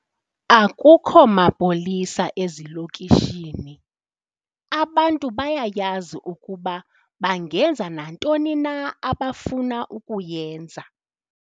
Akukho mapolisa ezilokishini, abantu bayayazi ukuba bangenza nantoni na abafuna ukuyenza.